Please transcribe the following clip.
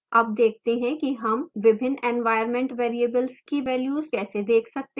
अब देखते हैं कि हम विभिन्न environment variables की values कैसे let सकते हैं